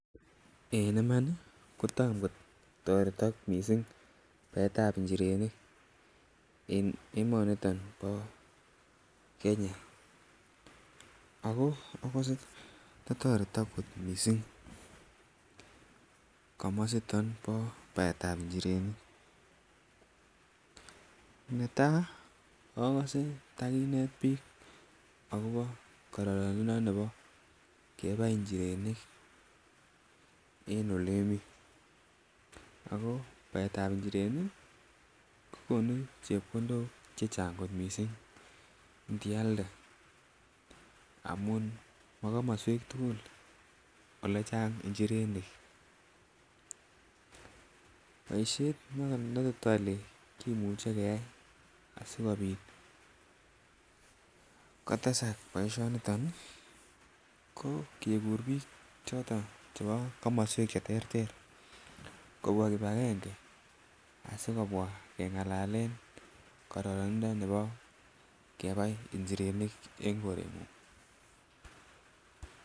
En iman ko tom kotoretek missing baetab njirenik en emoniton bo Kenya ako ogose to toretok kot missing komositon bo baetab njirenik. Netaa ogose takinet biik akobo kororonindo nebo kebai njirenik en ole mii ako baetab njirenik ii kogonu chepkondok chechang kot missing nti alde amun mo komoswek tuguk olechang njirenik. Boishet ne tot ole kimuche keyay asikopit kotesak boisioni niton ii ko kegur biik choton chebo komoswek che terter kobwaa kibagenge asi kobwaa kengalalen koronindo nebo kebai njirenik en korengung